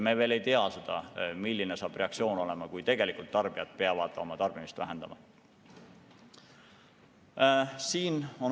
Me veel ei tea seda, milline saab reaktsioon olema, kui tarbijad tegelikult peavad oma tarbimist vähendama.